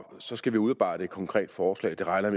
så skal vi udarbejde et konkret forslag og det regner